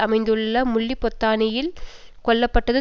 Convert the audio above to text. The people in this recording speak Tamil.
அமைந்துள்ள முல்லிபொத்தானையில் கொல்ல பட்டது